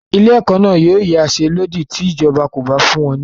Ilé-ẹ̀kọ́ náà yóò yansẹ́lódì ti ìjọba kò bá fún wọn lówó.